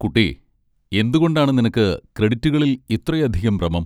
കുട്ടി, എന്തുകൊണ്ടാണ് നിനക്ക് ക്രെഡിറ്റുകളിൽ ഇത്രയധികം ഭ്രമം?